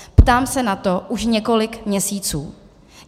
Ptám se na to už několik měsíců.